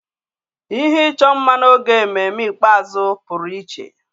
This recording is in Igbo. Ihe ịchọ mma n'oge ememme ikpeazụ pụrụ iche.